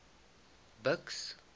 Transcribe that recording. buks